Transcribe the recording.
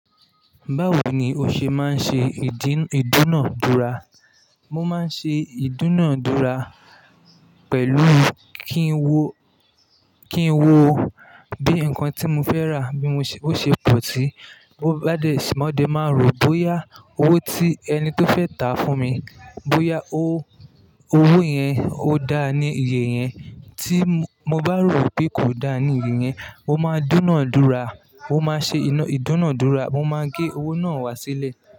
Báwo ni o ṣe máa ń ṣe ìdúnàádúrà? Mo máa ń ṣe ìdúnàádúrà pẹ̀lú kí ń wo, kí ń wo bí nǹkan tí mo fẹ́ rà bí mo se, bó ṣe pọ̀ sí, bó bá dé, ṣùgbọ́n de máa rò bóyá owó tí ẹni tó fẹ́ tà á fún mi, bóyá o owó yẹn ó dáa ní iye yẹn. Tí mo, mo bá rò pé kò dáa ní iye yẹn, mo máa dúnàádúrà. Mo máa ṣe ina ìdúnàádúrà, mo máa gé owó náà wá sílẹ̀.